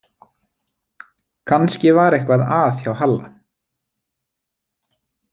Kannski var eitthvað að hjá Halla.